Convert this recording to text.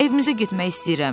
Evimizə getmək istəyirəm.